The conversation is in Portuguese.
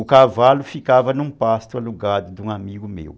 O cavalo ficava num pasto alugado de um amigo meu.